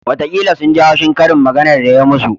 Watakila sun ji haushi karin maganar da ya yi musu